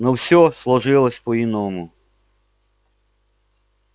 но всё сложилось по-иному